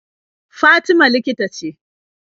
Fatima likita ce.